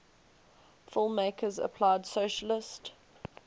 filmmakers applied socialist